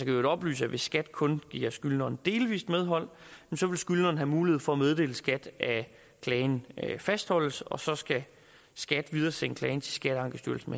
i øvrigt oplyse at hvis skat kun giver skyldneren delvis medhold vil skyldneren have mulighed for at meddele skat at klagen fastholdes og så skal skat videresende klagen til skatteankestyrelsen